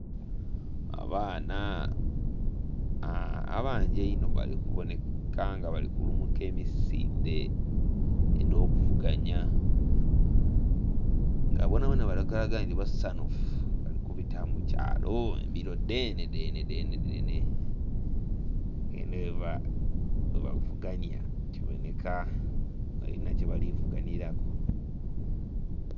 Abaana abangi einho bali kubonheka nga bali kulumuka emisindhe edho kuvuganhya nga bona bona bali kulaga nga basanhufu bali kubita mukyalo embiro dhene dhene.... nga enho ghe bavuganhya kibonheka balinha kyebali vuganhiraku.